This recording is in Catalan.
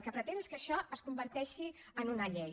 el que pretén és que això es converteixi en una llei